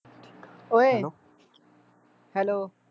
ਓਏ hello